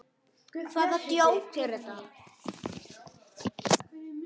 Hvaða djók er þetta?